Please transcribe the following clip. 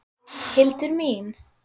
Hildur mín!